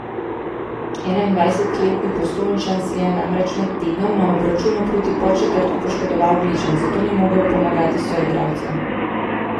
Enaindvajsetletni Postojnčan si je namreč med tednom na obračunu proti Podčetrtku poškodoval gleženj, zato ni mogel pomagati soigralcem.